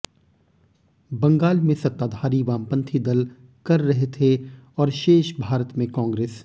बंगाल में सत्ताधारी वामपंथी दल कर रहे थे और शेष भारत में कांग्रेस